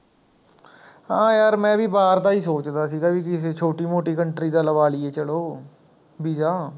ਹਾਂ ਯਾਰ ਮੈਂ ਵੀ ਬਾਹਰ ਦਾ ਹੀ ਸੋਚਦਾ ਸੀਗਾ ਵੀ ਕਿਸੀ ਛੋਟੀ ਮੋਟੀ country ਦਾ ਲਵਾ ਲਈਏ ਚਲੋ visa